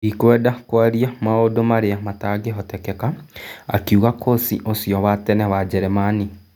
" Ndikwenda kwaria maũndũ marĩa matangĩhotekeka", akiuga kũci ũcio wa tene Njeremani.